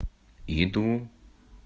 иду